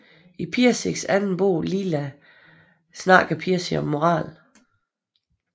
I Pirsigs anden bog Lila taler Pirsig om moral